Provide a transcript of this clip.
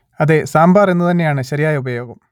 അതെ സാമ്പാർ എന്നു തന്നെയാണ് ശരിയായ ഉപയോഗം